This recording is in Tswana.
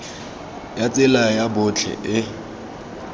ya tsela ya botlhe e